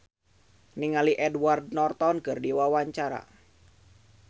Donna Harun olohok ningali Edward Norton keur diwawancara